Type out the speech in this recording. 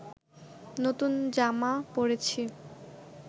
নতুন জামা পরেছি